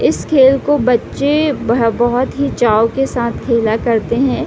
इस खेल को बच्चे ब बहुत ही चाव के साथ खेला करते है।